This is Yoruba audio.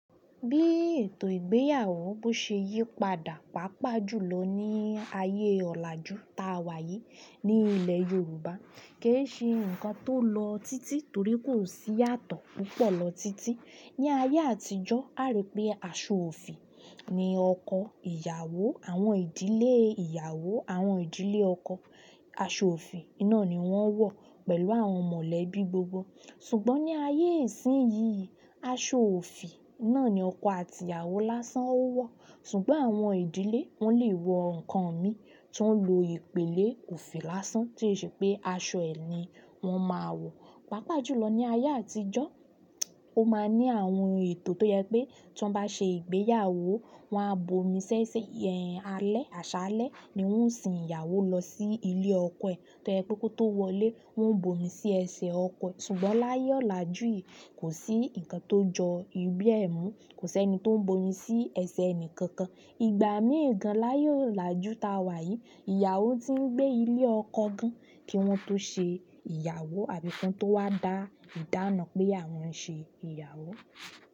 Bi ètò ìgbéyàwó bi o ṣe yípadà paapaa julọ ni ààyè ọlaju ta wa yìí ni ilẹ yorùbá ko ṣe nkan ti o lọ titi torí ko si iyatọ púpọ̀ lọ titi ni ayé àtijọ́, aa rí pé aṣọ òfì ni ọkọ ìyàwó, àwọn ìdílé ìyàwó, àwọn ìdílé ọkọ. Aṣọ òfì náà ni wọ́n ń wọ̀ pẹ̀lú àwọn mọ̀lẹ́bí gbogbo. Ṣùgbọ́n ní ayé ìsín yìí, aṣọ òfì náà ni ọkọ àti ìyàwó lásán ó wọ̀. Ṣùgbọ́n àwọn ìdílé, wọ́n lè wọ nǹkan mi tó ń lo ìpèlè òfì lásán, tí ó ṣe pé aṣọ ẹni wọ́n máa wọ̀. Pàápàá jùlọ ní ayé àtijọ́, o máa ní àwọn ètò tó yẹ pé tí wọ́n bá ṣe ìgbéyàwó, wọ́n á bomi sí ẹsẹ̀ alẹ́, àṣálẹ́ ni wọ́n ń sin ìyàwó lọ sí ilé ọkọ ẹ̀, to je pe ko to wọlé, wọ́n ń bomi sí ẹsẹ̀ ọkọ e. Ṣùgbọ́n láyé ọ̀làjú yìí, kò sí ǹkan tó jọ bẹ́ẹ̀ mọ́, kò sí ẹni tó ń bomi sí ẹsẹ̀ ẹni kankan. Ìgbà mí ìgan láyé ọ̀làjú ta wà yìí, ìyàwó tí ń gbé ilé ọkọ gan kí wọ́n tó ṣe ìyàwó àbí kí wọ́n tó wá dá ìdáná pé àwọn ṣe ìyàwó.